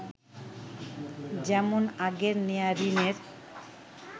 যেমন আগের নেয়া ঋণের